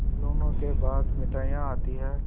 खिलौनों के बाद मिठाइयाँ आती हैं